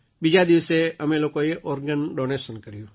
બીજા દિવસે અમે લોકોએ ઑર્ગન ડૉનેશન ક ર્યું